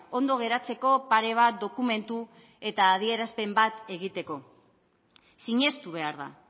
ondo geratzeko pare bat dokumentu eta adierazpen bat egiteko sinestu behar da